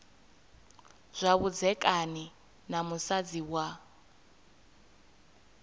zwa vhudzekani na musadzi wa